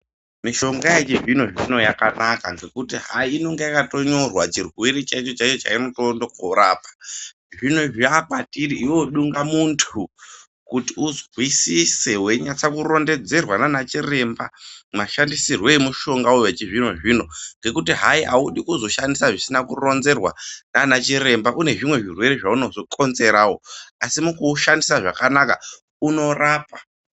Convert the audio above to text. Mishonga yechizvino-zvino yakanaka ngekuti hayi inenge yakanyatonyorwa chirwere chaicho chaunonga urikoorapa. Zvino zvaakwatiri iwewe dungamuntu kuti uzwisise weinyatsa kurondedzerwa naana chiremba mashandisirwe emushongawo wechizvino-zvino ngekuti hayi haudi kuzoshandisa zvisina kuronzerwa naana chiremba, kune zvimwe zvirwere zvaunozokonzerawo, asi mukuushandisa zvakanaka, unorapa.